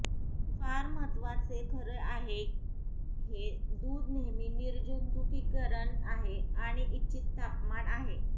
फार महत्त्वाचे खरं आहे हे दूध नेहमी निर्जंतुकीकरण आहे आणि इच्छित तापमान आहे